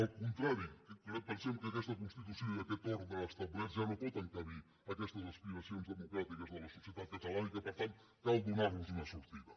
al contrari pensem que aquesta constitució i aquest ordre establert ja no poden encabir aquestes aspiracions democràtiques de la societat catalana i que per tant cal donarlos una sortida